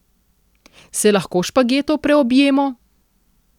Se lahko špagetov preobjemo?